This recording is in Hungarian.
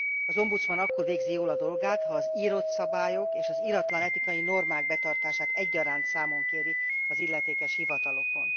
Az ombudsman akkor végzi jól a dolgát, ha az írott szabályok, és az íratlan etikai normák betartását egyaránt számon kéri az illetékes hivatalokon.